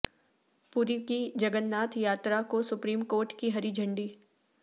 پوری کی جگن ناتھ یاتراکو سپریم کورٹ کی ہری جھنڈی